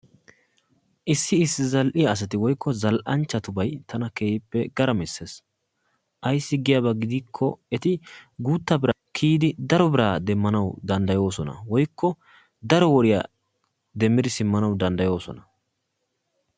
Issi issi zal"iya asati woyikko zal"anchchatubay tana keehippe garamisees. Ayissi giyaaba gidikko eti guuttaa biran kiyidi daro biraa demmanawu dandayoosona woyikko daro woriya demmidi simmanawu dandayoosona.